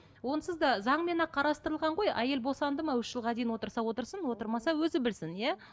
онсыз да заңмен ақ қарастырылған ғой әйел босанды ма үш жылға дейін отырса отырсын отырмаса өзі білсін иә